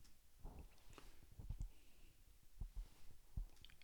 Prednost Doba zdaj znaša šest točk.